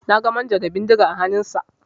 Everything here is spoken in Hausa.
Na ga manjo da bindiga a hannunsa.